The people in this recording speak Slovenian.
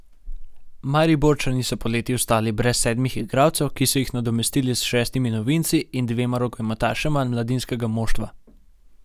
Mariborčani so poleti ostali brez sedmih igralcev, ki so jih nadomestili s šestimi novinci in dvema rokometašema mladinskega moštva.